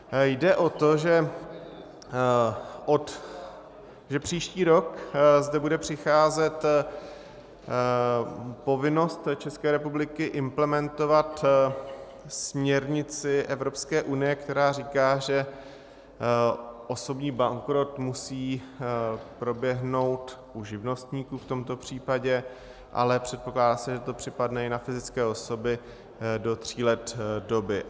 Jde o to, že příští rok zde bude přicházet povinnost České republiky implementovat směrnici Evropské unie, která říká, že osobní bankrot musí proběhnout u živnostníků v tomto případě, ale předpokládá se, že to připadne i na fyzické osoby, do tří let doby.